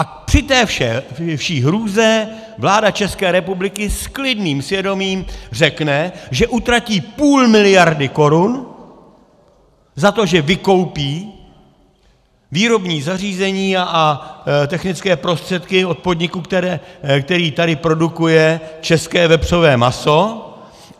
A při té vší hrůze vláda České republiky s klidným svědomím řekne, že utratí půl miliardy korun za to, že vykoupí výrobní zařízení a technické prostředky od podniku, který tady produkuje české vepřové maso.